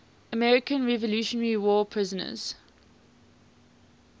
american revolutionary war prisoners